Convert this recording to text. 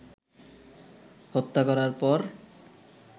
হত্যা করার পর